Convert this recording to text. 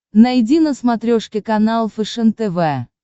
найди на смотрешке канал фэшен тв